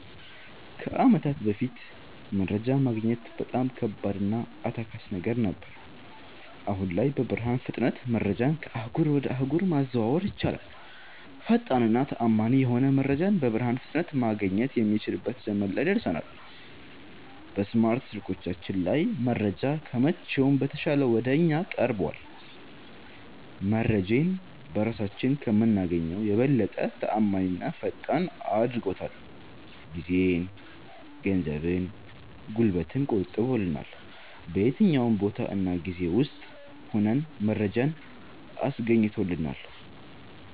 ከአመታት በፋት መረጃ ማግኘት በጣም ከባድ እና አታካች ነገር ነበር። አሁን ላይ በብርሃን ፍጥነት መረጃን ከአህጉር ወጀ አህጉር ማዘዋወር ይቻላል። ፈጣን እና ተአመኒ የሆነ መረጃን በብርሃን ፍጥነት ማገኘት የሚችልበት ዘመን ላይ ደርሠናል። በስማርት ስልኮቻችን ላይ መረጃ ከመቼውም በተሻለ ወደ እኛ ቀርቧል። መረጄን በራሳችን ከምናገኘው የበለጠ ተአማኒና ፈጣን አድርጎታል። ጊዜን፣ ገንዘብን፣ ጉልበትን ቆጥቦልናል። በየትኛውም ቦታ እና ጊዜ ውስጥ ሁነን መረጃን አስገኝቶልናል።